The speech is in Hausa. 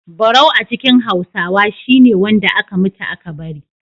Barau a cikin Hausawa shi ne wanda aka mutu aka bari.